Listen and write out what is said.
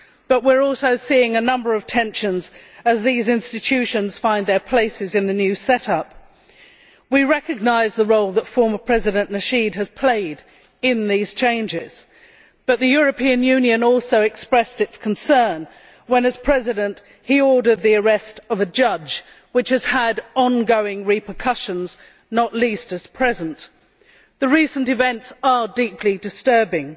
But we are also seeing a number of tensions as these institutions find their places in the new set up. We recognise the role that former President Nasheed has played in these changes. But the European Union also expressed its concern when, as president, he ordered the arrest of a judge, which has had on going repercussions, not least at present. The recent events are deeply disturbing.